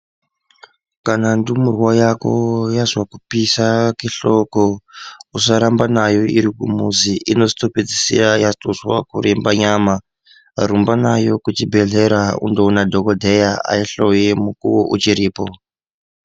Kana ndumurwa yako yazwe kupisa kwehloko usarambanayo iri kumuzi inozotopedzisira yatozwa kuremba nyama rumba nayo kuchibhehlera unoona dhokodheya aihloye mukuwo uchiripo.